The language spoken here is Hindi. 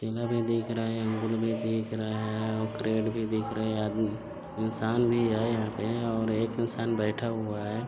केला भी दिख रहा है अंगूर भी दिख रहा है और करेट भी दिख रहे है आदमी इंसान भी है यहाँ पे और एक इंसान बैठा हुआ है।